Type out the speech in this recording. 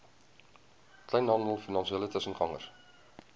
kleinhandel finansiële tussengangers